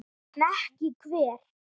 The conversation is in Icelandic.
En ekki hver?